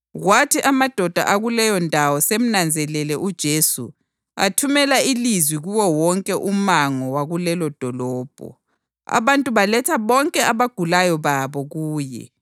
Kwathi amadoda akuleyondawo semnanzelele uJesu athumela ilizwi kuwo wonke umango wakulelo dolobho. Abantu baletha bonke abagulayo babo kuye